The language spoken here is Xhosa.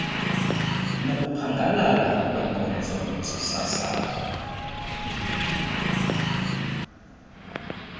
nokuphangalala kweenkonzo zosasazo